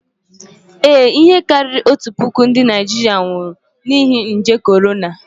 Ee, ihe karịrị otu puku ndị Naịjirịa nwụrụ n'ihi nje korona